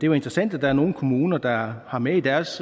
jo interessant at der er nogle kommuner der har med i deres